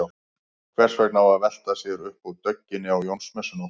Hvers vegna á að velta sér upp úr dögginni á Jónsmessunótt?